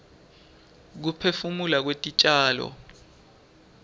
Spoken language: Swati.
kuphefumula kwetitjalo